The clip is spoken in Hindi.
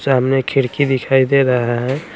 सामने खिरकी दिखाई दे रहा है।